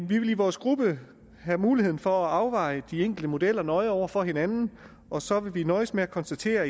vil i vores gruppe have mulighed for at afveje de enkelte modeller nøje over for hinanden og så vil vi i dag nøjes med at konstatere